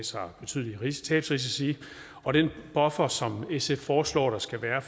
sig betydelige tabsrisici og den buffer som sf foreslår der skal være